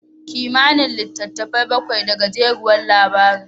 Kimanin litattafai bakwai da gajeriyar labari.